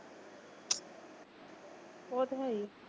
ਉਹ ਤਾਂ ਹੈ ਹੀ।